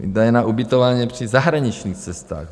Výdaje na ubytování při zahraničních cestách.